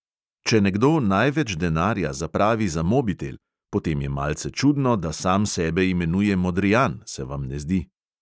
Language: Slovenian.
Če nekdo največ denarja zapravi za mobitel, potem je malce čudno, da sam sebe imenuje modrijan, se vam ne zdi.